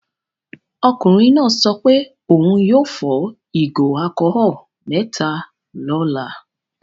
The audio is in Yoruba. Ọkùnrin náà sọ pé òun yóò fọ ìgò alcholol mẹ́ta lọ́la.